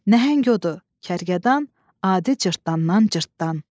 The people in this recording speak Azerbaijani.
Nəhəng o da kərkədan, adi cırtdandan cırtdan.